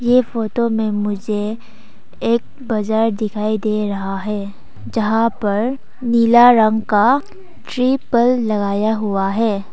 ये फोटो में मुझे एक बाजार दिखाई दे रहा है जहां पर नीला रंग का तिरपाल लगाया हुआ है।